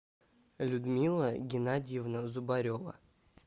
людмила геннадьевна зубарева